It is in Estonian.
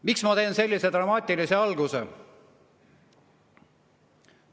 Miks ma tegin sellise dramaatilise alguse?